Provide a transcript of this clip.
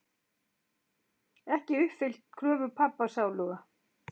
Ekki uppfyllt kröfur pabba sáluga.